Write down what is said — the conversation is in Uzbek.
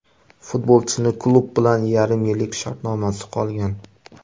Futbolchining klub bilan yarim yillik shartnomasi qolgan.